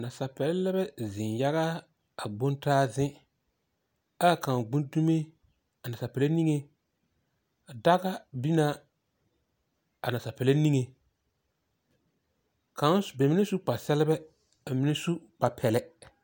Nansapeԑle la bԑ zeŋ yaga a gbontaa zeŋ aa kaŋ gbi dume a nansapelaa niŋe. A daga biŋ naa a nansapelaa niŋe. Kaŋ, ba mine su kpare-sԑlebԑ ka mine su kpare pԑlԑ.